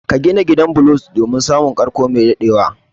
Ka gina gidan bulo domin samun karko mai dadewa